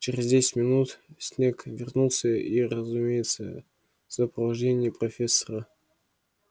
через десять минут снегг вернулся и разумеется в сопровождении профессора